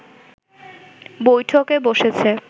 বৈঠকে বসেছে